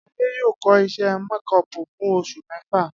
Adé yóò kó̩ is̩é̩ méko̩ò̩pù fún os̩ù mé̩fà